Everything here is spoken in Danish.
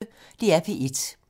DR P1